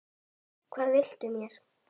Hvað viltu mér?